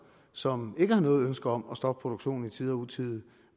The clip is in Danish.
som ikke har noget ønske om at stoppe produktionen i tide og utide